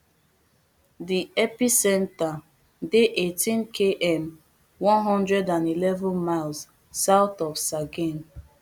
di epicentre dey eighteenkm one hundred and eleven miles south of sagaing